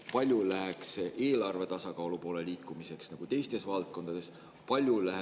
Kui palju sellest läheks eelarve tasakaalu poole liikumiseks teistes valdkondades?